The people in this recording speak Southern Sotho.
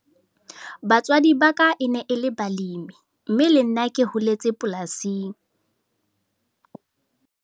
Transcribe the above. Batswadi ba ka e ne e le balemi, mme le nna ke holetse polasing.